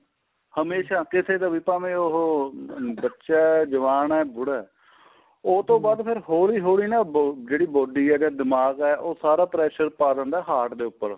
ਹਮੇਸ਼ਾ ਕਿਸੇ ਦਾ ਵੀ ਉਹ ਭਾਵੇਂ ਉਹ ਬੱਚਾ ਜਵਾਨ ਏ ਬੁੜਾ ਏ ਉਹ ਤੋਂ ਬਾਅਦ ਹੋਲੀਂ ਹੋਲੀਂ ਜਿਹੜੀ body ਏ ਦਿਮਾਗ਼ ਏ ਉਹ ਸਾਰਾ pressure ਪਾ ਦਿੰਦਾ ਏ heart ਦੇ ਉੱਪਰ